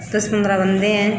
दस पंद्रह बन्दा है।